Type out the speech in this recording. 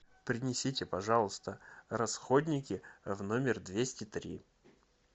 принесите пожалуйста расходники в номер двести три